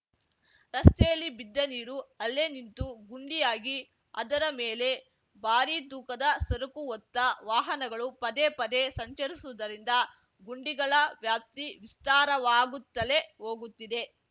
ರಸ್ತೆಯಲ್ಲಿ ಬಿದ್ದ ನೀರು ಅಲ್ಲೇ ನಿಂತು ಗುಂಡಿಯಾಗಿ ಅದರ ಮೇಲೆ ಭಾರಿ ತೂಕದ ಸರಕು ಹೊತ್ತ ವಾಹನಗಳು ಪದೇ ಪದೇ ಸಂಚರಿಸುವುದರಿಂದ ಗುಂಡಿಗಳ ವ್ಯಾಪ್ತಿ ವಿಸ್ತಾರವಾಗುತ್ತಲೆ ಹೋಗುತ್ತಿದೆ